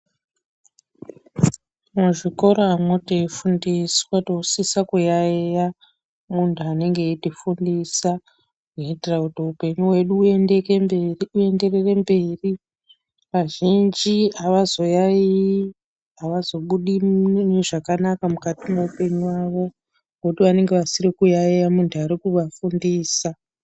Muzvikoramwo teifundiswa tinosisa kuyayeya munthu anenge eitifundisa, kuitira kuti upenyu wedu uenderere mberi. Azhinji avazoyayeyi, avazobudi zvakanaka mukati mweupenyu wavo, ngekuti vanenge vasikayayeyi munthu ari kuvafundisa.